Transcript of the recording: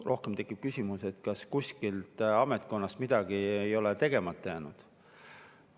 Rohkem tekib küsimus, kas kuskil ametkonnas ei ole midagi tegemata jäänud.